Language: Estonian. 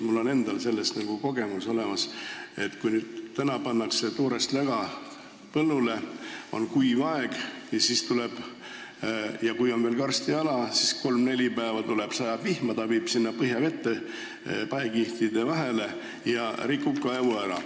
Mul on endal olemas kogemus, et kui kuival ajal pannakse toorest läga põllule ja kui on veel tegu karstialaga ja siis kolm-neli päeva sajab vihma, siis see viib läga põhjavette paekihtide vahele ja rikub kaevu ära.